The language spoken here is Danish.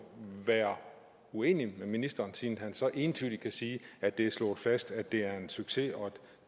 være uenig med ministeren siden han så entydigt kan sige at det er slået fast at det er en succes og at